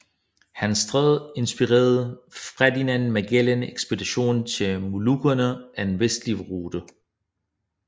Hans stræde inspirerede Ferdinand Magellan ekspedition til Molukkerne af en vestlig rute